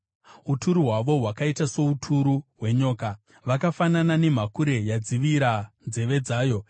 Uturu hwavo hwakaita souturu hwenyoka, vakafanana nemhakure yadzivira nzeve dzayo,